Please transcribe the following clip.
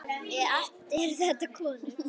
Allt eru þetta konur.